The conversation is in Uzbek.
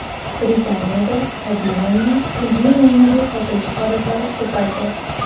Britaniyada tabiiy mo‘yna sun’iy mo‘yna deb sotilishi holatlari ko‘paydi.